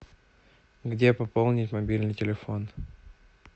где пополнить мобильный телефон